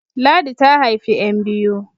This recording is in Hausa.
Ladi ta haifi `yan biyu